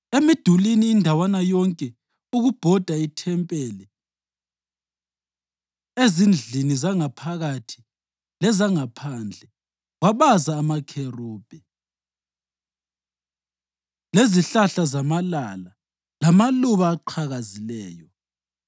Emidulini indawana yonke ukubhoda ithempeli, ezindlini zangaphakathi lezangaphandle wabaza amakherubhi, lezihlahla zamalala lamaluba aqhakazileyo.